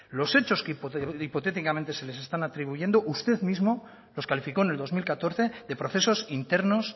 lo hechos que hipotéticamente se les están atribuyendo usted mismo los calificó en el dos mil catorce de procesos internos